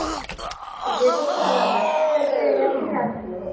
Gate ও তো আলাদা মনে হয় যে ইয়ার থেকে আসলো